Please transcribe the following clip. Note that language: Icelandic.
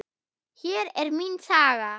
Hér er mín saga.